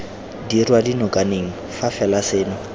dirwa dinokaneng fa fela seno